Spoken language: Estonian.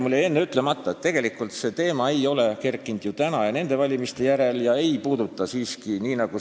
Mul jäi enne ütlemata, et see teema ei ole kerkinud ju täna ja nende valimiste järel ega puuduta siiski ainult mainitud kolme omavalitsust.